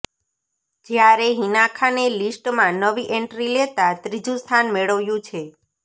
જ્યારે હિના ખાને લિસ્ટમાં નવી એન્ટ્રી લેતા ત્રીજું સ્થાન મેળવ્યું છે